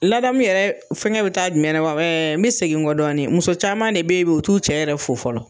Ladamu yɛrɛ fɛngɛ bɛ taa jumɛn la wa n bɛ segin kɔ dɔɔni muso caman de bɛ yen bi u t'u cɛ yɛrɛ fo fɔlɔ.